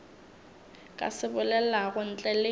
ka se bolelago ntle le